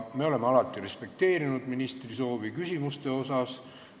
Me oleme alati respekteerinud ministri soovi küsimuste asjus.